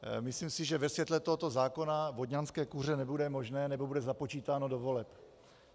Myslím si, že ve světle tohoto zákona vodňanské kuře nebude možné, nebo bude započítáno do voleb.